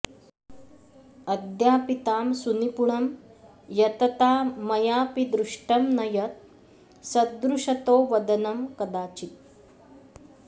अद्यापि तां सुनिपुणं यतता मयापि दृष्टं न यत् सदृशतोवदनं कदाचित्